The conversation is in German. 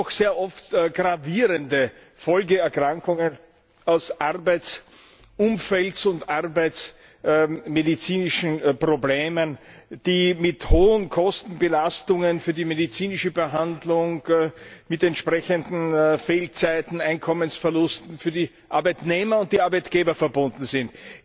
Wir haben doch sehr oft gravierende Folgeerkrankungen aufgrund des Arbeitsumfelds und von arbeitsmedizinischen Problemen, die mit hohen Kostenbelastungen für die medizinische Behandlung, mit entsprechenden Fehlzeiten und mit Einkommensverlusten für die Arbeitnehmer und die Arbeitgeber verbunden sind.